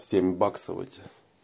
семь баксов этих